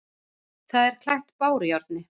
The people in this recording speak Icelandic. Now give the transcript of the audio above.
Það er klætt bárujárni.